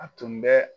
A tun bɛ